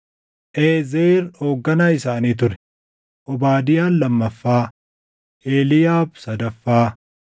Eezer hoogganaa isaanii ture; Obaadiyaan lamaffaa, Eliiyaab sadaffaa,